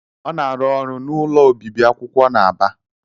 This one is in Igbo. Ọ na-arụ ọrụ n'ụlọ obibi akwụkwọ na Aba.